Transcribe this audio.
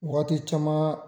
Wagati caman